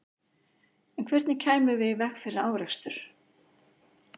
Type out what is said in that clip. En hvernig kæmum við í veg fyrir árekstur?